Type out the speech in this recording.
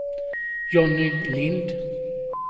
Jonny Lindh